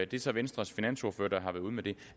det er så venstres finansordfører der har været ude med det